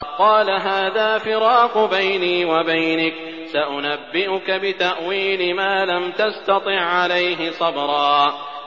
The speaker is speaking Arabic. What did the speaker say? قَالَ هَٰذَا فِرَاقُ بَيْنِي وَبَيْنِكَ ۚ سَأُنَبِّئُكَ بِتَأْوِيلِ مَا لَمْ تَسْتَطِع عَّلَيْهِ صَبْرًا